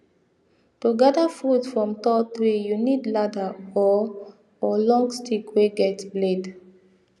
to gather fruit from tall tree you need ladder or or long stick wey get blade